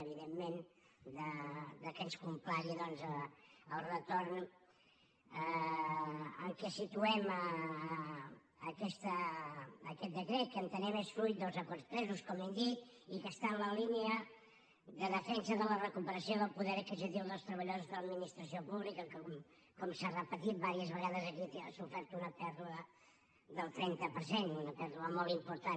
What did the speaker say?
evidentment que ens complagui el retorn en què situem aquest decret que entenem que és fruit dels acords presos com hem dit i que està en la línia de defensa de la recuperació del poder adquisitiu dels treballadors de l’administració pública que com s’ha repetit vàries vegades aquests han sofert una pèrdua del trenta per cent una pèrdua molt important